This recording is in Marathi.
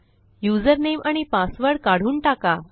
युझरनेम आणि पासवर्ड काढून टाका